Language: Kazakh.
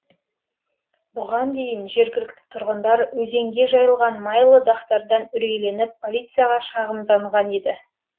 бұған дейін жергілікті тұрғындар өзенге жайылған майлы дақтардан үрейленіп полицияға шағымданған еді